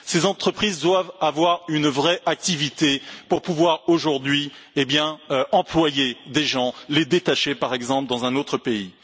Ces entreprises doivent avoir une vraie activité pour pouvoir aujourd'hui employer des gens, les détacher, par exemple, dans un autre pays.